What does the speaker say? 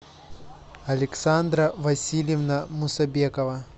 александра васильевна мусабекова